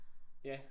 Ja